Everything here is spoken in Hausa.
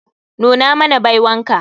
Nuna mana baiwan ka.